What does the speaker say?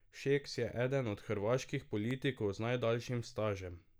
Šeks je eden od hrvaških politikov z najdaljšim stažem.